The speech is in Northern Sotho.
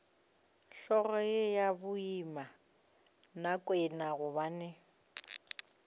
hlogo ye ya babinakwena gobane